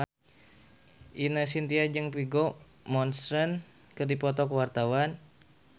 Ine Shintya jeung Vigo Mortensen keur dipoto ku wartawan